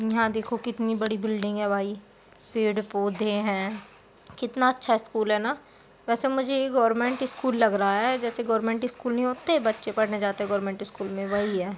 यहाँ देखो कितनी बड़ी बिल्डिंग है भाई पेड़-पौधे हैं कितना अछा स्कूल है न। वेसे मुझे यह गवर्नमेंट स्कूल लग रहा है जैसे गवर्नमेंट स्कूल नहीं होते बच्चे पढ़ने जाते गवर्नमेंट स्कूल मे वही है।